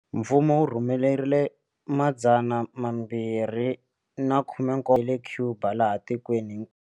Mfumo wu rhumerile 217 wa le Cuba laha tikweni.